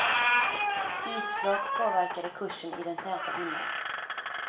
Isflak påverkade kursen i den täta dimman.